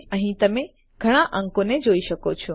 અહીં તમે ઘણા અંકોને જોઈ શકો છો